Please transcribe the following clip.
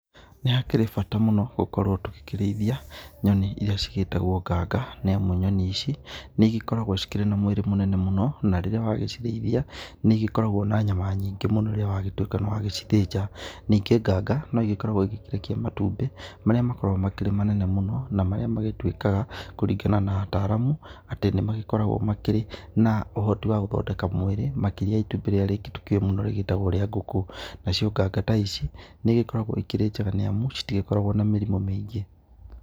Nĩ hakĩrĩ bata mũno gũkorwo tũgĩkĩrĩithia nyoni irĩa cigĩtagwo nganga nĩamu nyoni ici nĩ cigĩkoragwo cikĩrĩ na mwĩrĩ mũnene mũno na rĩrĩa wagĩcirĩithia nĩ cigĩkoragwo na nyama nyingĩ mũno rĩrĩa wagĩtuĩka nĩ wagĩcithĩnja, ningĩ nganga no igĩkoragwo ikĩrekia matumbĩ marĩa makoragwo me manene mũno na marĩa magĩtuĩkaga kũrĩgana na ataramu atĩ nĩ magĩkoragwo makĩrĩ na ũhoti wa gũthondeka mwĩrĩ makĩrĩa ya itumbĩ rĩrĩa rĩngĩ tũkĩũĩ mũno rĩgĩtagwo rĩa ngũkũ nacio nganga ta ici nĩ ĩgĩkoragwo ikĩrĩ njega nĩ amu citigĩkoragwo na mĩrimũ mĩingĩ.